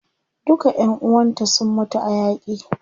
Duka ƴan uwanta sun mutu a yaƙi.